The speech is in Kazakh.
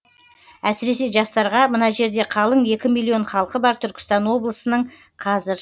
әсіресе жастарға мына жерде қалың екі миллион халқы бар түркістан облысының қазір